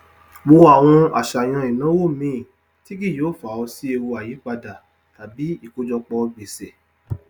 wo àwọn àṣàyàn ináwó míì tí kì yóò fa ọ sí ewu àìyípádà tàbí ikojọpọ gbèsè